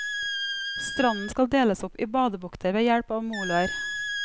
Stranden skal deles opp i badebukter ved hjelp av moloer.